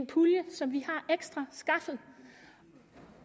pulje som vi har skaffet